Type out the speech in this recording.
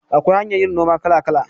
Akwai hanyar yin noma kala kala